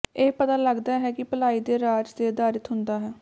ਇਹ ਪਤਾ ਲੱਗਦਾ ਹੈ ਕਿ ਭਲਾਈ ਦੇ ਰਾਜ ਦੇ ਆਧਾਰਿਤ ਹੁੰਦਾ ਹੈ